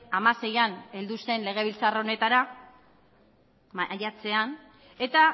hamaseian heldu zen legebiltzar honetara maiatzean eta